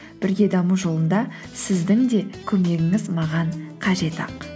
бірге даму жолында сіздің де көмегіңіз маған қажет ақ